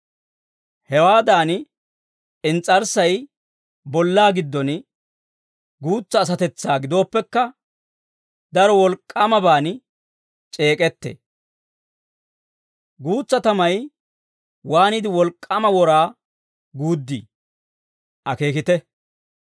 Hewaadan ins's'arssay bollaa giddon guutsa asatetsaa gidooppekka, daro wolk'k'aamaban c'eek'ettee. Guutsa tamay waaniide wolk'k'aama wora guuddii! Akeekite.